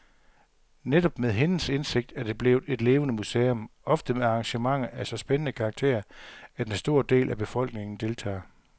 Netop med hendes indsigt er det blevet et levende museum, ofte med arrangementer af så spændende karakter, at en stor del af befolkningen deltager.